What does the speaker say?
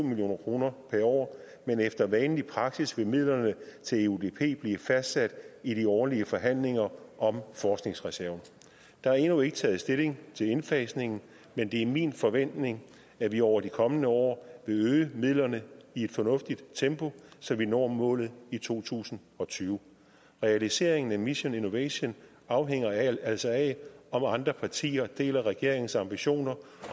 million kroner per år men efter vanlig praksis vil midlerne til eudp blive fastsat i de årlige forhandlinger om forskningsreserven der er endnu ikke taget stilling til indfasningen men det er min forventning at vi over de kommende år vil øge midlerne i et fornuftigt tempo så vi når målet i to tusind og tyve realiseringen af mission innovation afhænger altså af om andre partier deler regeringens ambitioner